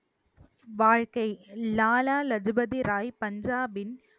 வாழ்க்கை லாலா லஜூ பதி ராய் பஞ்சாபின்